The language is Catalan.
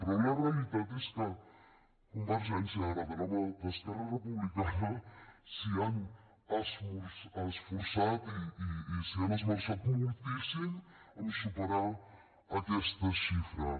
però la realitat és que a convergència ara de la mà d’esquerra republicana s’hi han esforçat i s’hi han esmerçat moltíssim en superar aquestes xifres